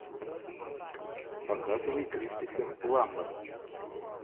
показывай кристофер пламмер